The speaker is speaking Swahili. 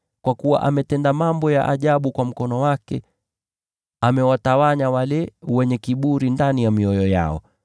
Kwa kuwa ametenda mambo ya ajabu kwa mkono wake; amewatawanya wale wenye kiburi ndani ya mioyo yao.